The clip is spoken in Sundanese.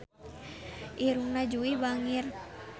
Irungna Jui bangir